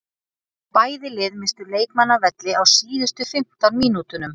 Bæði lið misstu leikmann af velli á síðustu fimmtán mínútunum.